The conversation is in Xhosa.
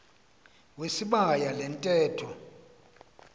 wesibaya le ntetho